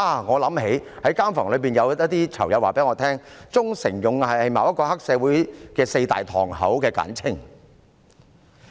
我想起在監房內一些囚友告訴我，"忠誠勇毅"是某個黑社會組織的四大堂口的簡稱。